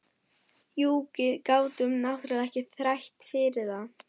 Jú, við gátum náttúrlega ekki þrætt fyrir það.